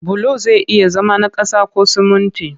Bulo zai iya zama na ƙasa ko sumunti